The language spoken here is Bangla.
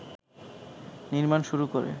নির্মাণ শুরু করে